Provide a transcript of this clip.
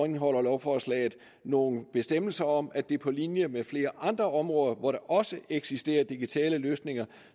indeholder lovforslaget nogle bestemmelser om at det på linje med flere andre områder hvor der også eksisterer digitale løsninger